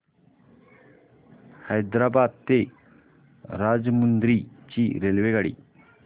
हैदराबाद ते राजमुंद्री ची रेल्वेगाडी